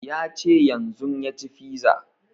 Ya ce yanzun ya ci fiza